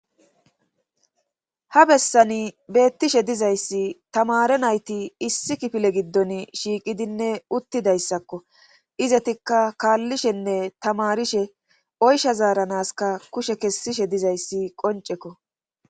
ha bessani beettishe dizayssi tamare nayti issi kifile giddon shiiqidinne uttidayssakko izetikka kaallishenne tamarishe oysha zaaranaska kushe kessishe dizayssi qoncekko